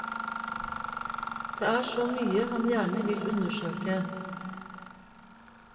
Det er så mye han gjerne vil undersøke.